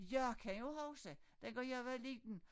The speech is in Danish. Jeg kan jo huske dengang jeg var liden